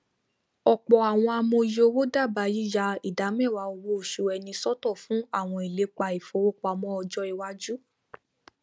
ọpọ àwọn amòye owó dábàá yíya ìdá mẹwàá owo oṣù ẹni sọtọ fún àwọn ìlépa ìfowópamọ ọjọ iwáju